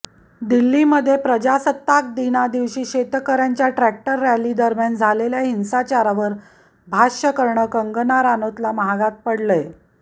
दिल्लीमध्ये प्रजासत्ताक दिनादिवशी शेतकऱ्यांच्या ट्रॅक्टर रॅली दरम्यान झालेल्या हिंसाचारावर भाष्य करणं कंगना रनौतला महागात पडलंय